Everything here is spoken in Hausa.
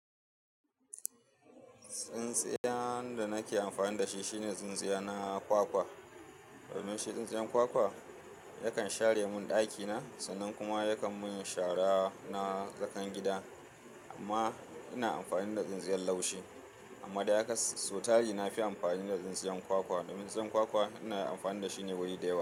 Tsintsiyar da nake amfani da shi shine tsintsiya na kwakwa. Domin shi tsintsiyar kwakwa yakan share mun ɗakina sannan kuma yakan mun shara na tsakan gida amma ina amfani da tsintsiyar laushi amma dai sotari nafi amfani da tsintsiyar kwakwa domin tsintsiyar kwakwa ina amfani dashi guri da yawa.